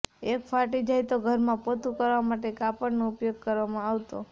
એય ફાટી જાય તો ઘરમાં પોતું કરવા માટે તે કાપડનો ઉપયોગ કરવામાં આવતો